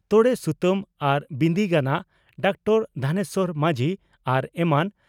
ᱛᱚᱲᱮ ᱥᱩᱛᱟᱹᱢ ᱟᱨ ᱵᱤᱸᱫᱤ ᱜᱟᱱᱟᱜ (ᱰᱟᱠᱛᱟᱨ ᱫᱷᱚᱱᱮᱥᱣᱚᱨ ᱢᱟᱹᱡᱷᱤ) ᱟᱨ ᱮᱢᱟᱱ ᱾